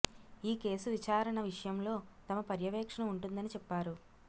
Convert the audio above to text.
ఈ కేసు విచారణ విషయంలో తమ పర్యవేక్షణ ఉంటుందని చెప్పారు